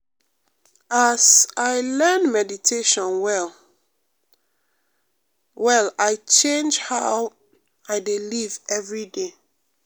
as um i learn meditation well-well i change how um i dey live every day.